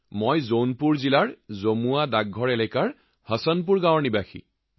মই হসনপুৰ গাওঁ জামুৱা পোষ্ট জৌনপুৰ জিলাৰ বাসিন্দা